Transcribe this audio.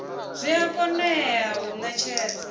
zwi a konḓa u ṅetshedza